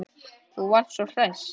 Þú varst svo hress.